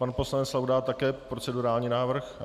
Pan poslanec Laudát také procedurální návrh?